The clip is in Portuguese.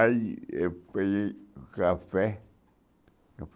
Aí eu peguei café.